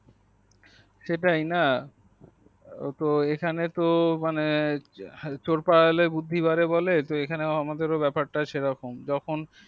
হ্যাঁ সেটাই না তো এখানে তো মানে চোরপালালে বুদ্ধি বাড়ে বলে তো এখানে তো আমাদের ব্যাপার টা সেরকম যখন